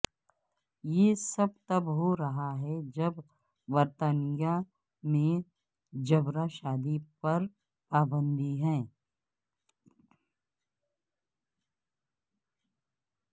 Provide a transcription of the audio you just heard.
یہ سب تب ہو رہا ہے جبکہ برطانیہ میں جبرا شادی پر پابندی ہے